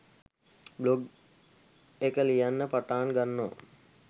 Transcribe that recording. blog එක ලියන්න පටාන් ගන්නවා